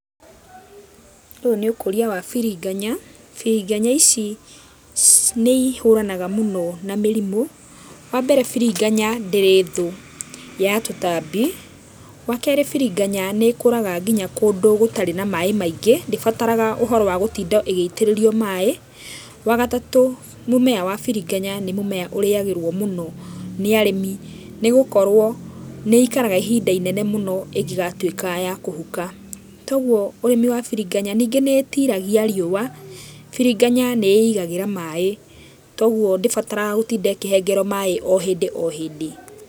Ũyũ nĩ ũkũria wa biriganya. Biriganya ici, nĩ ihũranaga mũno na mĩrimũ. Wambere biriganya ndĩrĩ thũũ ya tũtambi. Wakeeri biriganya nĩ kũraga nginya kũndũ gũtarĩ na maaĩ maingĩ ndĩbataraga ũhoro wa gũtinda ĩgĩitĩrĩrio maaĩ. Wagatatũ mũmera wa biriganya nĩ mũmera ũrĩagĩrwo mũno nĩ arĩmi, nĩ gũkorwo nĩ ĩikaraga ihinda inene mũno ĩngĩgatũĩka ya kũhũka. Togũo ũrĩmi wa biriganya ningĩ nĩ ĩtiragia rĩũa. Biriganya, nĩ ĩigagĩra maaĩ togũo ndĩbataraga gũtinda ĩkĩhengerwo maaĩ ohindi o hindi.